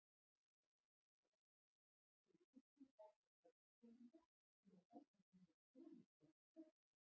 En jafnframt hefur Gissur átt að fá Íslendinga til að gangast undir konungsvald Hákonar.